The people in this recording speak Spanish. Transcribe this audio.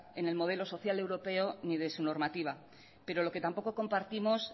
en el modelo social europeo ni de su normativa pero lo que tampoco compartimos